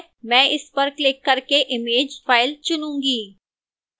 मैं इस पर क्लिक करके image file चुनूंगी